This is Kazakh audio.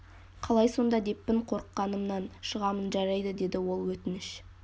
қалай сонда деппін қорықанымнан шығамын жарайды деді ол өтініш